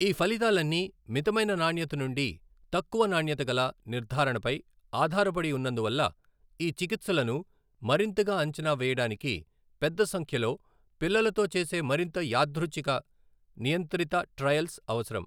ఈ ఫలితాలన్నీ మితమైన నాణ్యత నుండి తక్కువ నాణ్యత గల నిర్ధారణపై ఆధారపడి ఉన్నందువల్ల ఈ చికిత్సలను మరింతగా అంచనా వేయడానికి పెద్ద సంఖ్యలో పిల్లలతో చేసే మరింత యాదృచ్ఛిక, నియంత్రిత ట్రయల్స్ అవసరం.